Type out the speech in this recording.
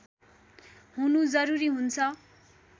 हुनु जरुरी हुन्छ